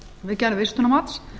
við gerð vistunarmats